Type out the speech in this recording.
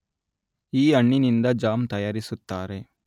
ಈ ಹಣ್ಣಿನಿಂದ ಜಾಮ್ ತಯಾರಿಸುತ್ತಾರೆ